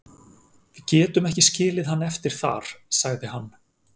Við getum ekki skilið hann eftir þar, sagði hann.